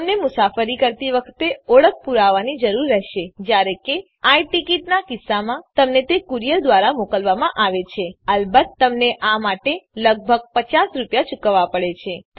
તમને મુસાફરી કરતી વખતે ઓળખ પુરાવાની જરૂર રહેશે જયારે કે આઈ ટીકીટ નાં કિસ્સામાં તમને તે કુરિયર દ્વારા મોકલવામાં આવે છે અલબત્ત તમને આ માટે લગભગ રૂ૫૦ ચુકવવા પડે છે